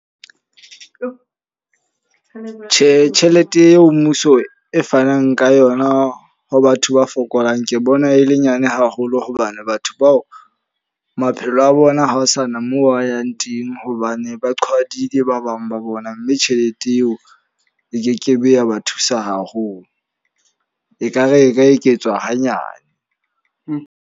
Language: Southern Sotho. Tjhe, tjhelete eo mmuso e fanang ka yona ho batho ba fokolang. Ke bona e le nyane haholo hobane batho bao maphelo a bona ha ho sana moo ba yang teng. Hobane ba qhwadileng ba bang ba bona. Mme tjhelete eo e kekebe ya ba thusa haholo. E ka re e ka eketswa hanyane.